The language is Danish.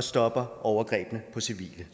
stopper overgrebene på civile